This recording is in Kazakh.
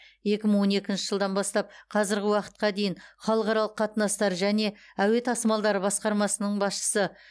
екі мың он екінші жылдан бастап қазіргі уақытқа дейін халықаралық қатынастар және әуе тасымалдары басқармасының басшысы